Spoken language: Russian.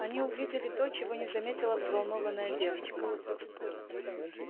они увидели то чего не заметила взволнованная девочка